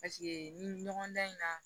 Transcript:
Paseke nin ɲɔgɔndan in na